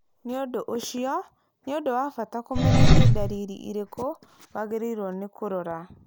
Nĩ ũndũ ũcio, nĩ ũndũ wa bata kũmenya nĩ ndariri irĩkũ wagĩrĩirũo nĩ kũrora.